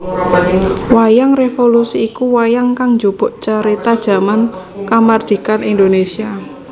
Wayang Révolusi iku wayang kang njupuk carita jaman kamardhikan Indonesia